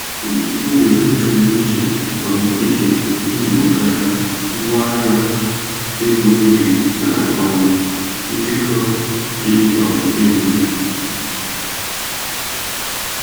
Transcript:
Pọtụfoliyo e kere iche um iche mejuputara ngwahịa, ego ibe na um nkekọ dị um elu.